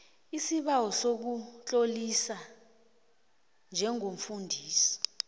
isibawo sokutloliswa njengomfundisi